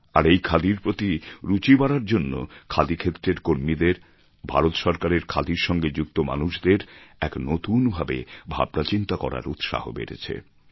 আর এই খাদির প্রতি রুচি বাড়ার জন্য খাদি ক্ষেত্রের কর্মীদের ভারত সরকারের খাদির সঙ্গে যুক্ত মানুষদের এক নতুন ভাবে ভাবনাচিন্তা করার উৎসাহ বেড়েছে